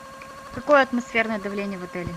какое атмосферное давление в отеле